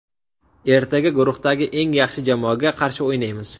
Ertaga guruhdagi eng yaxshi jamoaga qarshi o‘ynaymiz.